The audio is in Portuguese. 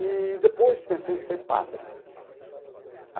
Eee depois pensei em ser padre.